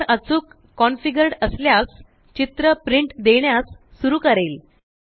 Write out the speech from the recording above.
printer अचूक configured असल्यास चित्र प्रिंट देण्यास सुरु करेल